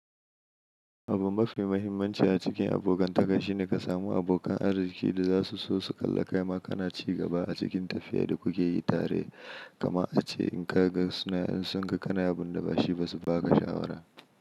Abun mafi muhimmanci a cikin abokantaka shine ka samu abokan arziƙi da zasu so su kalla kaima kana ci gaba a cikin tafiya da kuke yi tare. Kamar ace in ka ga suna in sun ga kana abun da ba shi ba su ba ka shawara.